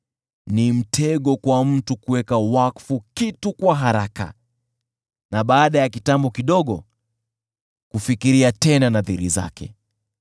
Ni mtego kwa mtu kuweka wakfu kitu kwa haraka na baada ya kitambo kidogo kufikiria tena nadhiri zake.